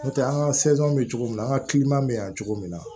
N'o tɛ an ka bɛ cogo min an ka bɛ yan cogo min na